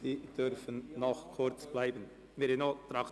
Sie dürfen noch kurz bleiben, Herr Regierungsrat.